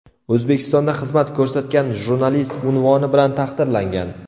O‘zbekistonda xizmat ko‘rsatgan jurnalist unvoni bilan taqdirlangan.